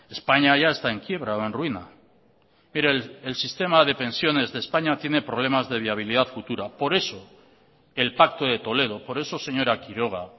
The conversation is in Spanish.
españa ya está en quiebra o en ruina pero el sistema de pensiones de españa tiene problemas de viabilidad futura por eso el pacto de toledo por eso señora quiroga